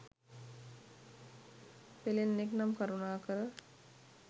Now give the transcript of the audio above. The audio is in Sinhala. පෙලෙන්නෙක් නම් කරුණාකර